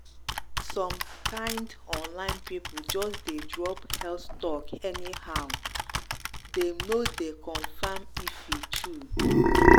some kind online people just dey drop health talk anyhow — dem no dey confirm if e true.